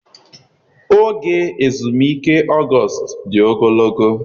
Oge ezumike August dị ogologo.